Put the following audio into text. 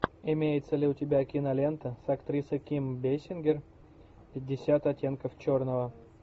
имеется ли у тебя кинолента с актрисой ким бейсингер пятьдесят оттенков черного